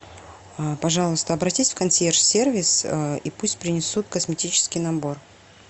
пожалуйста обратись в консьерж сервис и пусть принесут косметический набор